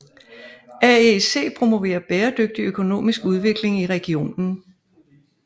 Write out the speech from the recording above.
AEC promoverer bæredygtig økonomisk udvikling i regionen